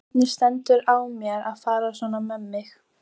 Hvernig stendur á mér að fara svona með mig?